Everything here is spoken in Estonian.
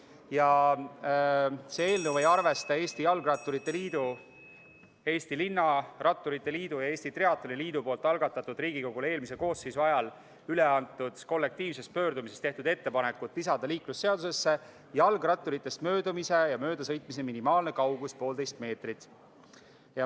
Ja see eelnõu ei arvesta Eesti Jalgratturite Liidu, Eesti Linnaratturite Liidu ja Eesti Triatloni Liidu algatatud ning Riigikogule eelmise koosseisu ajal üle antud kollektiivses pöördumises tehtud ettepanekut lisada liiklusseadusesse jalgratturitest möödumise ja möödasõidu minimaalne kaugus poolteist meetrit.